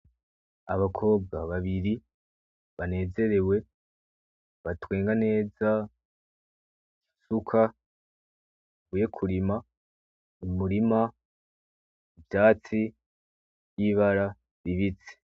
Abakobwa babiri banezerewe batwenga neza, isuka bavuye kurima mu murima, ivyatsi vy'ibara ribisi.